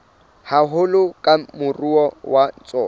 haholo ke moruo wa tsona